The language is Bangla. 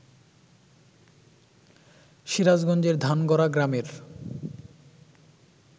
সিরাজগঞ্জের ধানগড়া গ্রামের